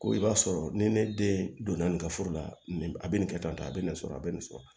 Ko i b'a sɔrɔ ni ne den donna nin ka furu la a bɛ nin kɛ tan a bɛ nin sɔrɔ a bɛ nin sɔrɔ